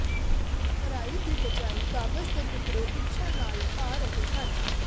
ਭਰਾਈ ਦੀ ਬਜਾਇ ਕਾਗਜ਼ ਦੇ ਟੁਕੜੇ ਇੱਛਾ ਨਾਲ ਪਾ ਰਹੇ ਹਨ